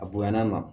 A bonya na